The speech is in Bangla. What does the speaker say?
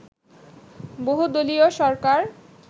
বহুদলীয় সরকার